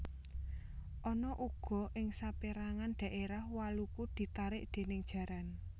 Ana uga ing sapérangan dhaérah waluku ditarik déning jaran